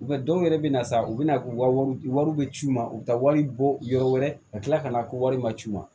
dɔw yɛrɛ bɛ na sa u bɛna wari bɛ ci u ma u bɛ taa wari bɔ yɔrɔ wɛrɛ ka tila ka na ko wari ma ci ma